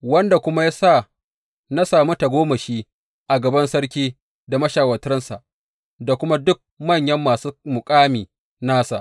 Wanda kuma ya sa na sami tagomashi a gaban sarki da mashawartansa, da kuma duk manyan masu muƙami nasa.